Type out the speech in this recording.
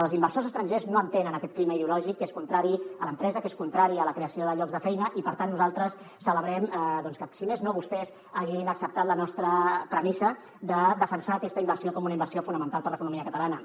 els inversors estrangers no entenen aquest clima ideològic que és contrari a l’empresa que és contrari a la creació de llocs de feina i per tant nosaltres celebrem que si més no vostès hagin acceptat la nostra premissa de defensar aquesta inversió com una inversió fonamental per a l’economia catalana